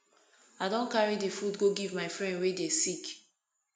i don carry di food go give my friend wey dey sick